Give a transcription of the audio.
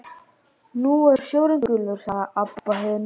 Nú er sjórinn gulur, sagði Abba hin.